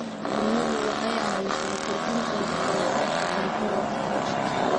Shinnidu waxay caawisaa kordhinta wax soo saarka cuntada.